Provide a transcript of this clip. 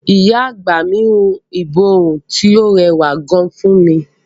Ìyá àgbà mi hun ìborùn tí ó rẹwà gan fún mi.